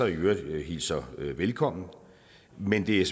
i øvrigt hilser velkommen men det er